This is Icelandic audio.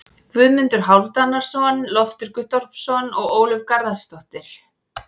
Guðmundur Hálfdanarson, Loftur Guttormsson og Ólöf Garðarsdóttir.